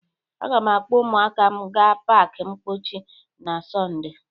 Aga m akpọ ụmụaka m ga pak mpọchi na Sọnde.